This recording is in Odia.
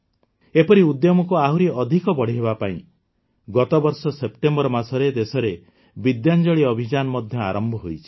ଏପରି ଉଦ୍ୟମକୁ ଆହୁରି ଅଧିକ ବଢ଼ାଇବା ପାଇଁ ଗତବର୍ଷ ସେପ୍ଟେମ୍ବର ମାସରେ ଦେଶରେ ବିଦ୍ୟାଞ୍ଜଳି ଅଭିଯାନ ମଧ୍ୟ ଆରମ୍ଭ ହୋଇଛି